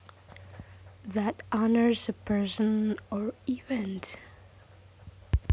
that honors a person or event